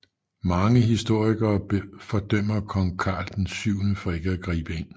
Mange historikere fordømmer kong Karl VII for ikke at gribe ind